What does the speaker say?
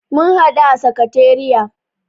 Mun haɗu a sakatariya.